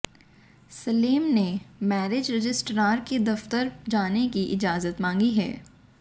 सलेम ने marriage registrar के दफ्तर जाने की इजाजत मांगी है